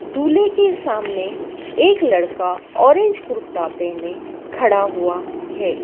दूल्हे के सामने एक लड़का ऑरेंज कुर्ता पहने खड़ा हुआ है।